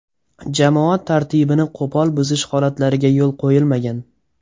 Jamoat tartibini qo‘pol buzish holatlariga yo‘l qo‘yilmagan.